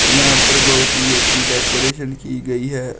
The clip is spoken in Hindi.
यहां पर बहुत ही अच्छी डेकोरेशन की गई है।